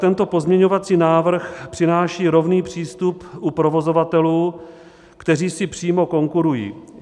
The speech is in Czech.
Tento pozměňovací návrh přináší rovný přístup u provozovatelů, kteří si přímo konkurují.